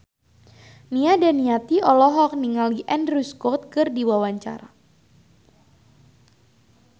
Nia Daniati olohok ningali Andrew Scott keur diwawancara